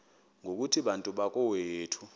ngokuthi bantu bakowethu